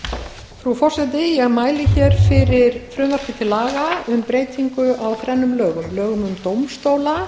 frú forseti ég mæli hér fyrir frumvarpi til laga um breytingu á þrennum lögum lögum um dómstóla